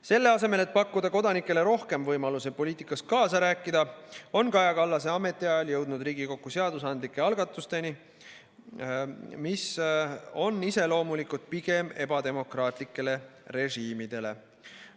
Selle asemel, et pakkuda kodanikele rohkem võimalusi poliitikas kaasa rääkida, on Kaja Kallase ametiajal jõudnud Riigikokku seadusandlikke algatusi, mis on iseloomulikud pigem ebademokraatlikele režiimidele.